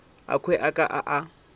akhwi a ka a a